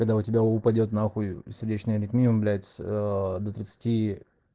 когда у тебя упадёт на хуй сердечная аритмия блять до тридцати